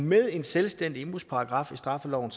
med en selvstændig indbrudsparagraf i straffeloven